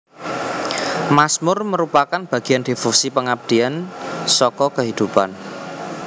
Mazmur merupakan bagian devosi pengabdian saka kehidupan